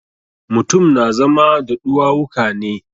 Mutum na zama da ɗuwawuka ne.